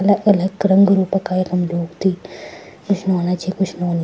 अलग-अलग रंगु रूप का यखम लोग थी कुछ नौना छि कुछ नौनी।